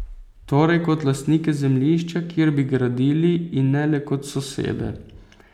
Torej kot lastnike zemljišča, kjer bi gradili, in ne le kot sosede.